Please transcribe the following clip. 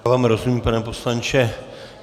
Já vám rozumím, pane poslanče.